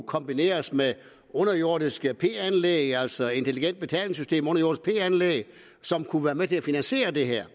kombineres med underjordiske p anlæg altså intelligente betalingssystemer som kunne være med til at finansiere det her